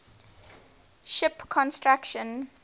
ship construction